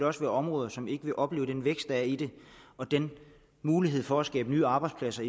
også være områder som ikke vil opleve den vækst der er i det og den mulighed for at skabe nye arbejdspladser